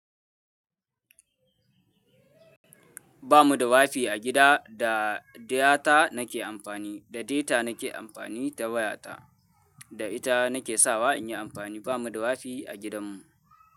Ba mu da wafi a gida, da data na ke amfani. Da data na ke amfani ta waya ta. Da ita na ke sawa inyi amfani. Ba mu da wafi a gidan mu.